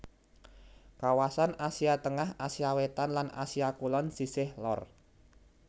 Kawasan Asia Tengah Asia Wétan lan Asia Kulon sisih lor